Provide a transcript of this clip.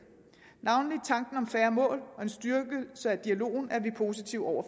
navnlig tanken om færre mål og en styrkelse af dialogen er vi positive over